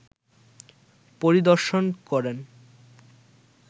পরিদর্শন করেন